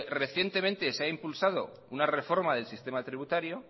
recientemente se haya impulsado una reforma del sistema tributario